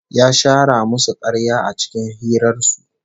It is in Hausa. Ya shara musu karya a cikin hirar su